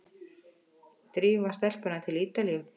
Drífa stelpuna til Ítalíu!